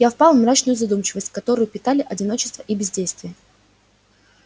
я впал в мрачную задумчивость которую питали одиночество и бездействие